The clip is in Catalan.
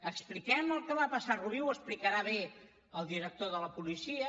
expliquem el que va passar a rubí ho explicarà bé el director de la policia